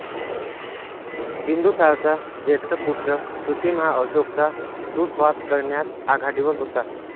बिंदुसारचा ज्येष्ठ पुत्र सुसीम हा अशोकचा दुस्वास करण्यात आघाडीवर होता